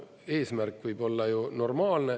Eesmärk võib olla ju normaalne.